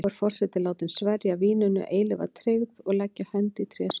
Þá er forseti látin sverja víninu eilífa tryggð og leggja hönd í tréskál.